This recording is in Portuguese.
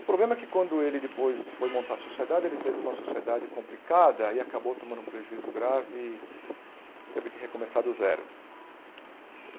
O problema é que quando ele depois foi montar a sociedade, ele teve uma sociedade complicada e acabou tomando um prejuízo grave e teve que recomeçar do zero.